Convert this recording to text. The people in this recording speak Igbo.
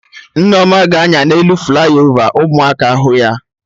Nneoma ga-anya na elu flaiovaka ụmụaka hụ ya